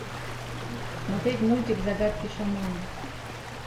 смотреть мультик загадки шамана